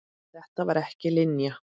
Þetta var ekki Linja.